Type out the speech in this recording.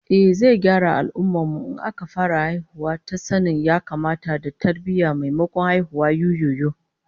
Ehh, zai gyara al'ummar mu in aka fara haihuwa ta sanin ya-kamata da tarbiyyah, maimakon haihuwar yuyuyu